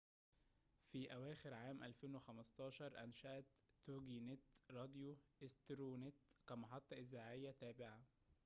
في أواخر عام 2015، أنشأت توجي نت راديو أسترو نت كمحطة إذاعية تابعة